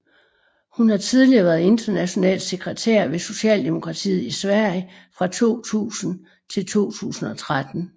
Hun har tidligere været international sekretær ved Socialdemokratiet i Sverige fra 2000 til 2013